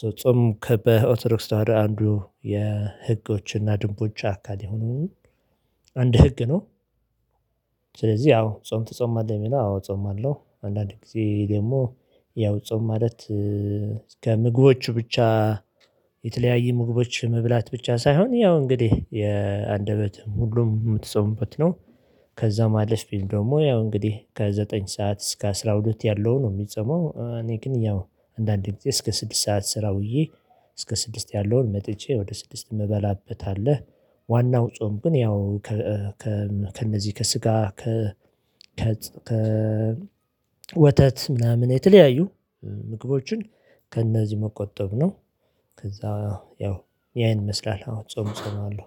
ሶ ጾም ከበኦትዶክስ ወደ አንዱ የህጎችና ድንቦችን አካል የሆኑ አንድ ህግ ነው። ስለዚህ አዎ ጾም ተጾማለህ? የሚለው አዎ ጾማለው አንዳንዴ ጊዜ ደግሞ ያው ጾም ማለት ከምግቦቹ ብቻ የተለያየ ምግቦች መብላት ብቻ ሳይሆን ያው እንግዲህ የአንደበት ሁሉም የምትጸምበት ነው። ከዛም አለፊ ቢል ደግሞ ያው እንግዲህ ከዘጠኝ ሰዓት እስከ አስራ ሁለት ያለው ነው የሚጸመው እኔ ግን ያው አንዳንዴ እስከ ስድስት ሰዓት ስራ ውዬ እስከ ስድስት ያለውን መጥቼ ወደ ስድስት የምበላበት አለ። ዋናው ጾም ግን ያው ከእነዚህ ከስጋ ከ ከ ወተት ምናምን የተለያዩ ምግቦችን ከእነዚህ መቆጠብ ነው። ከዛ ያው ያን ይመስላል አውን ጾም ጾማለው።